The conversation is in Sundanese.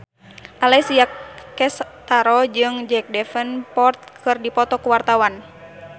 Alessia Cestaro jeung Jack Davenport keur dipoto ku wartawan